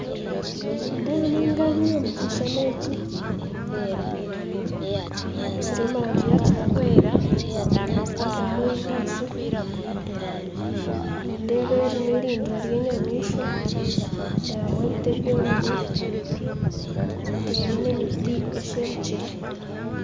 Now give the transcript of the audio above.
Nindeebamu engabi omukishushani eki ery'omurangi yakitaka, ndeebamu ebinyansi, nindeeba eri nirindiro ry'enyamishwa, ndeebamu ebiti ebyomire, ndeebamu n'emiti esherukire.